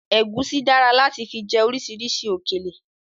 Ẹ̀gúsí dára láti fi jẹ orisirisi òkèlè